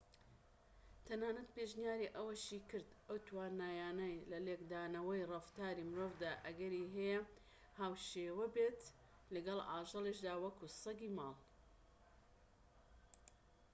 تەنانەت پێشنیاری ئەوەشی کرد ئەو توانایانە لە لێکدانەوەی ڕەفتاری مرۆڤدا ئەگەری هەیە هاوشێوە بێت لەگەڵ ئاژەڵیشدا وەکو سەگی ماڵی